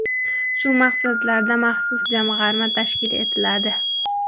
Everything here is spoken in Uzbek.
Shu maqsadlarda maxsus jamg‘arma tashkil etiladi.